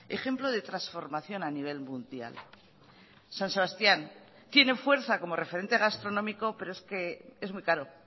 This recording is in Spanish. ejemplo de transformación a nivel mundial san sebastián tiene fuerza como referente gastronómico pero es que es muy caro